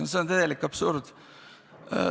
No see on täielik absurd.